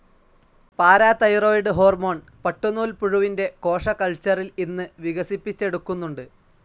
Parathyroid ഹോർമോണും പട്ടുനൂൽപുഴുവിൻ്റെ കോശ കൽച്ചറിൽ ഇന്ന് വികസിപ്പിച്ചെടുക്കുന്നുണ്ട്.